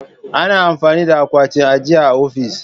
Ana amfani da akwatin ajiya a ofis.